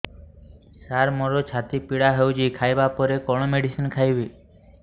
ସାର ମୋର ଛାତି ପୀଡା ହଉଚି ଖାଇବା ପରେ କଣ ମେଡିସିନ ଖାଇବି